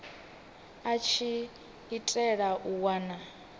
a tshi itela u wana